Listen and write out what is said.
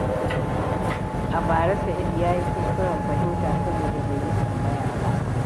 A bara, Sa’id ya yi kuskuren fahimta saboda bai yi tambaya ba.